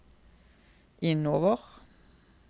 innover